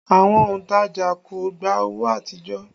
Àwọn òntajà kò gbà owó àtijọ́